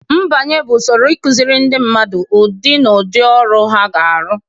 Mbanye bụ usoro ịkụziri ndị mmadụ ụdị na ụdị ọrụ ha ga-arụ